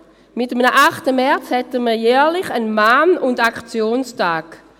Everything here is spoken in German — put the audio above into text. Mit einem 8. März hätten wir jährlich einen Mahn- und Aktionstag.